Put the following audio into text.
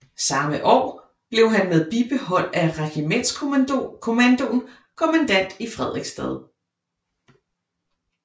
Sammme år blev han med bibehold af regimentskommandoen kommandant i Frederiksstad